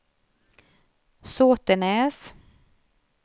Såtenäs